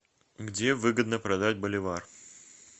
где выгодно продать боливар